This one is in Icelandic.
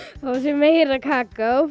fá sér meira kakó